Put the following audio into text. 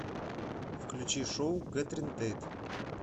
включи шоу кэтрин тейт